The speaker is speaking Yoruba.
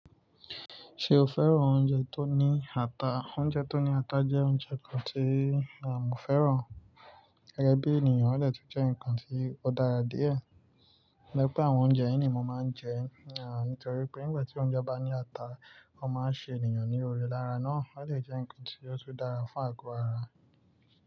Ṣé o fẹ́ràn oúnjẹ tó ní ata? Oúnjẹ tó ní ata jẹ́ oúnjẹ kan tí mọ́ fẹ́ràn. Gẹ́gẹ́ bí ènìyàn, ó de tun jẹ́ ǹkan tí ó dára díẹ̀. To je pe àwọn oúnjẹ yii nì mo máa ń jẹ, nítorí pé nígbà tí oúnjẹ bá ní ata, ó máa ń ṣe ènìyàn ní òore lára náà. Ó dè jẹ́ ǹkan tí ó tun dára fún àgọ́ ara.